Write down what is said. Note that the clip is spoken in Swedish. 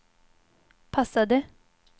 passade